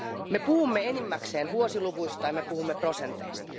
Me puhumme enimmäkseen vuosiluvuista ja me puhumme prosenteista.